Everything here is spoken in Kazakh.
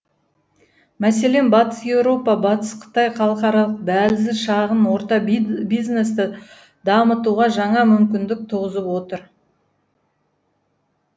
мәселен батыс еуропа батыс қытай халықаралық дәлізі шағын орта бизнесті дамытуға жаңа мүмкіндік туғызып отыр